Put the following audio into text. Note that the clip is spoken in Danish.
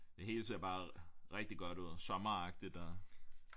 Det hele ser bare rigtig godt ud sommeragtigt og